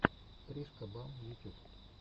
тришка бам ютюб